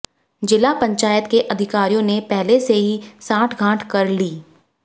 जिला पंचायत के अधिकारियों ने पहले से ही सांठगांठ कर ली